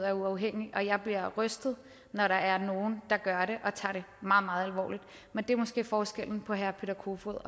er uafhængig og jeg bliver rystet når der er nogen der gør det og tager det meget meget alvorligt men det er måske forskellen på herre peter kofod